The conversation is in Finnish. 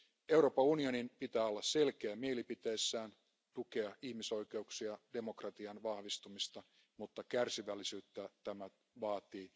Euroopan unionin pitää olla selkeä mielipiteissään ja tukea ihmisoikeuksia ja demokratian vahvistamista. Mutta kärsivällisyyttä tämä vaatii.